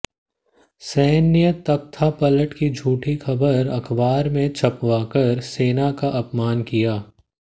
सैन्य तख्तापलट की झूठी खबर अखबार में छपवाकर सेना का अपमान किया